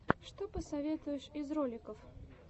что посоветуешь из роликов